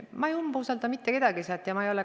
Ma ei umbusalda mitte kedagi selles komisjonis.